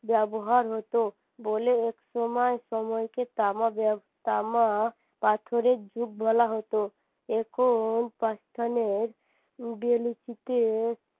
ব্যবহার হতো বলে একসময় সময়কে তামা তামা পাথরের যুগ বলা হতো এখন